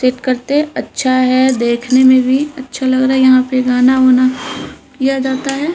करते अच्छा है देखने में भी अच्छा लग रहा है यहाँ पे गाना वाना याद आता है।